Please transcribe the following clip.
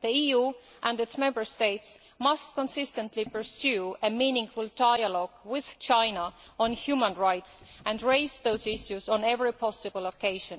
The EU and its Member States must consistently pursue a meaningful dialogue with China on human rights and raise those issues on every possible occasion.